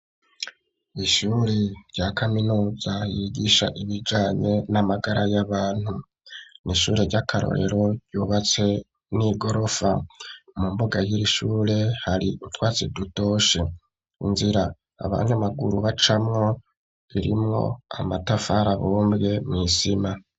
Ishure rya kaminuza ryigisha ibijanye n'amagara y'abantu n'ishure ry'akarorero ryubatse n'igorofa mu mbuga y'irishure hari itwatsi dutoshi inzira abanyamaguru bacamo irimo amatafari abombwe mw'isima.